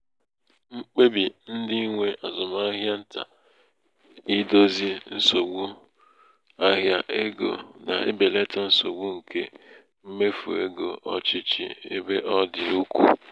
mkpebi ndị nwe azụmahịa ntà idozi nsogbu idozi nsogbu ịzụ ahịa ego na-ebelata nsogbu nke mmefu ego ọchịchị ebe ọ dị ukwuu.